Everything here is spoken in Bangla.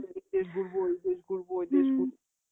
এই দেশ ঘুরবো, ওই দেশ ঘুরবো, ওই দেশ ঘুরবো.